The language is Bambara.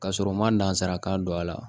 Ka sɔrɔ u ma nanzarakan don a la